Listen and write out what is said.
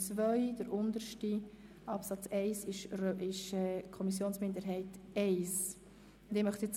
Der dritte ist von der Kommissionsminderheit I zu Absatz 2.